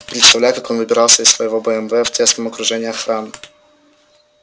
представляю как он выбирался из своего бмв в тесном окружении охраны